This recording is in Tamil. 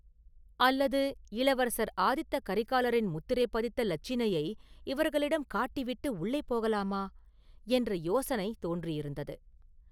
அல்லது, இளவரசர் ஆதித்த கரிகாலரின் முத்திரை பதித்த இலச்சினையை இவர்களிடம் காட்டிவிட்டு உள்ளே போகலாமா?” என்ற யோசனை தோன்றி இருந்தது.